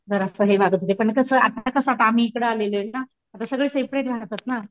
जरासं हे माघे पुढें पण आता कस आम्ही इकडे आलेलो आहे ना आता सगळे सेपरेट रहातात ना